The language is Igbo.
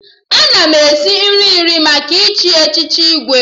Ana m esi nri iri maka ịchị echiche Igwe